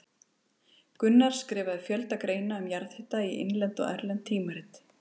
Gunnar skrifaði fjölda greina um jarðhita bæði í innlend og erlend tímarit.